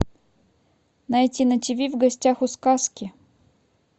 найти на тв в гостях у сказки